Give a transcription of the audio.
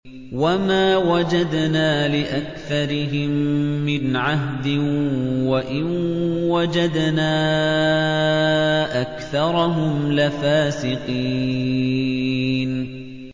وَمَا وَجَدْنَا لِأَكْثَرِهِم مِّنْ عَهْدٍ ۖ وَإِن وَجَدْنَا أَكْثَرَهُمْ لَفَاسِقِينَ